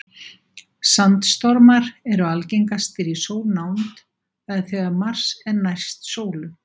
Sandstormar eru algengastir í sólnánd, það er þegar Mars er næst sólu.